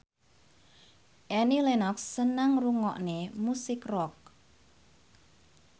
Annie Lenox seneng ngrungokne musik rock